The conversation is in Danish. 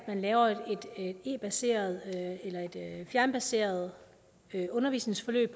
man laver et e baseret eller et fjernbaseret undervisningsforløb